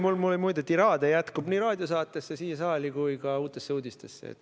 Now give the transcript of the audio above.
Mul jätkub tiraade nii raadiosaatesse, siia saali kui ka Uutesse Uudistesse.